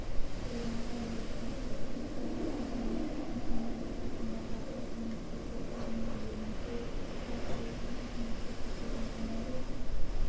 орынға ие болды қызылқоға ауданы досмұхамедов атындағы орта мектебі орынды иеленсе атырау қаласындағы мектеп-лицейдің командасы